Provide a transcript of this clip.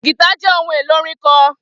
Gìtá jẹ́ ohun èlò orin kan